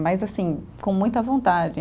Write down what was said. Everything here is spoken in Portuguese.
Mas assim, com muita vontade.